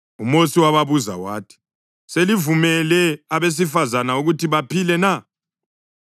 UMosi wababuza wathi, “Selivumele abesifazane ukuthi baphile na?